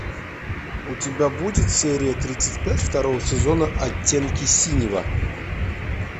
у тебя будет серия тридцать пять второго сезона оттенки синего